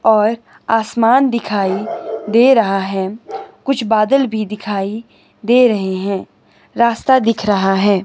और आसमान दिखाई दे रहा हैं कुछ बदल भी दिखाई दे रहे हैं रास्ता दिख रहा है।